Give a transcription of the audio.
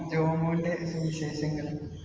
ജോമോന്‍റെ സുവിശേഷങ്ങൾ